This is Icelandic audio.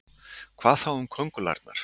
Hvað þá um köngulærnar?